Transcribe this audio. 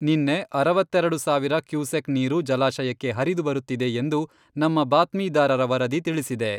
ನಿನ್ನೆ ಅರವತ್ತೆರೆಡು ಸಾವಿರ ಕ್ಯೂಸೆಕ್ ನೀರು ಜಲಾಶಯಕ್ಕೆ ಹರಿದು ಬರುತ್ತಿದೆ ಎಂದು ನಮ್ಮ ಬಾತ್ಮಿದಾರರ ವರದಿ ತಿಳಿಸಿದೆ.